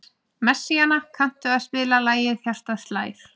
Messíana, kanntu að spila lagið „Hjartað slær“?